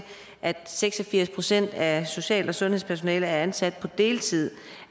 er seks og firs procent af social og sundhedspersonalet ansat på deltid